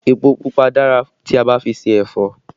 Èpò pupa dára tí a bá fi ṣe ẹ̀fọ́